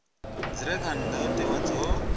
dzi re kha ndayotewa dzo